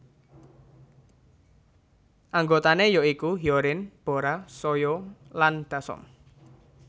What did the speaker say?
Anggotané ya iku Hyorin Bora Soyou lan Dasom